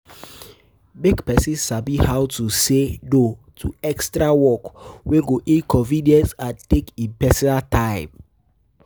Make persin Sabi how to say No to extra work wey go inconvience and take in personal time